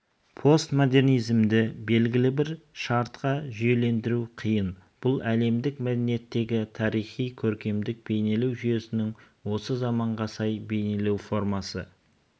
постмодернизмді белгілі бір шартқа жүйелендіру қиын бұл әлемдік мәдениеттегі тарихи көркемдік бейнелеу жүйесінің осы заманға сай бейнелеу формасы